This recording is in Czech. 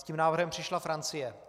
S tím návrhem přišla Francie.